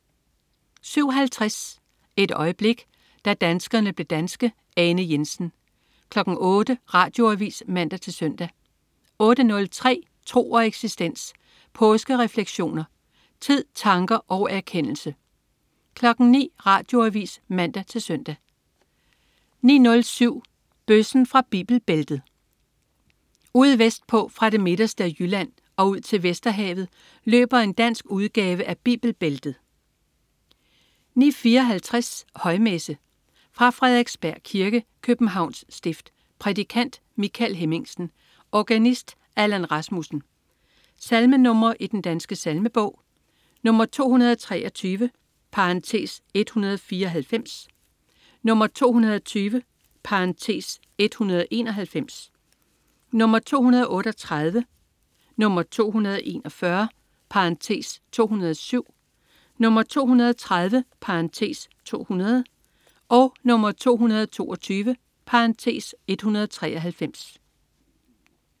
07.50 Et øjeblik. Da danskerne blev danske. Ane Jensen 08.00 Radioavis (man-søn) 08.03 Tro og eksistens. Påskerefleksioner. Tid, tanker og erkendelse 09.00 Radioavis (man-søn) 09.07 Bøssen fra Bibelbæltet. Ude vestpå, fra det midterste af Jylland og ud til Vesterhavet, løber en dansk udgave af Bibelbæltet 09.54 Højmesse. Fra Frederiksberg Kirke, Københavns Stift. Prædikant: Michael Hemmingsen. Organist: Allan Rasmussen. Salmenr. i Den Danske Salmebog: 223 (194), 220 (191), 238, 241 (207), 230 (200), 222 (193)